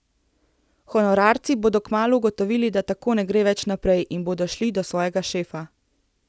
Honorarci bodo kmalu ugotovili, da tako ne gre več naprej, in bodo šli do svojega šefa.